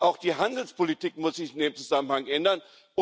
Deshalb Auch die Handelspolitik muss sich in dem Zusammenhang ändern.